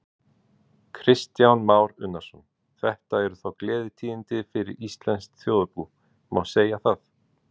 Kristján Már Unnarsson: Þetta eru þá gleðitíðindi fyrir íslenskt þjóðarbú, má segja það?